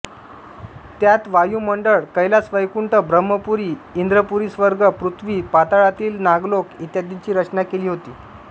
त्यात वायुमंडळ कैलासवैकुंठ ब्रम्हपुरी इंद्रपुरीस्वर्ग पृथ्वी पाताळातील नागलोक इत्यांदिंची रचना केली होती